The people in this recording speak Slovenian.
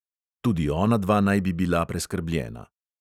Tudi onadva naj bi bila preskrbljena.